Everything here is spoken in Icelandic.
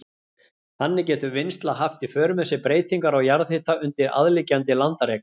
Þannig getur vinnsla haft í för með sér breytingar á jarðhita undir aðliggjandi landareign.